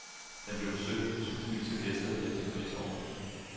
Den blev besøgt af tusindvis af gæster i efterkrigsårene.